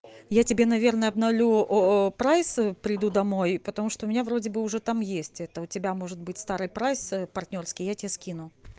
я тебе наверное обновлю прайс приду домой потому что у меня вроде бы уже там есть это у тебя может быть старый прайс партнёрский я тебе скину